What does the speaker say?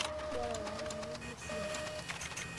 Iyata taa ninye yie esiai.